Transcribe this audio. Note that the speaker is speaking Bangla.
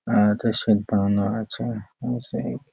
আর হয়তো শেঠ বানানো আছে হুম সেই--